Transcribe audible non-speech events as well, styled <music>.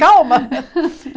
Calma! <laughs>